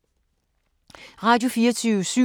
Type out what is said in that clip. Radio24syv